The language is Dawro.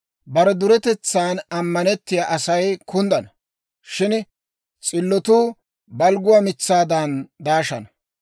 Bare duretetsan ammanettiyaa Asay kunddana; shin s'illotuu balgguwaa mitsaadan daashana.